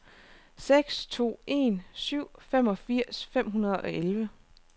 seks to en syv femogfirs fem hundrede og elleve